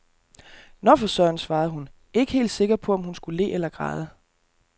Nå for søren, svarede hun, ikke helt sikker på om hun skulle le eller græde.